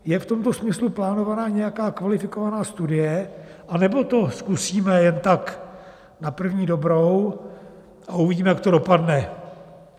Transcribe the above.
Je v tomto smyslu plánovaná nějaká kvalifikovaná studie, anebo to zkusíme jen tak na první dobrou a uvidíme, jak to dopadne?